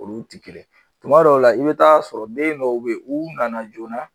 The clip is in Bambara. Olu ti kelen tuma dɔw la i bi t'a sɔrɔ den dɔw be yen u nana joona